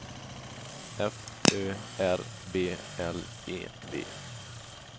F Ö R B L E V